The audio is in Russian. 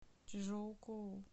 чжоукоу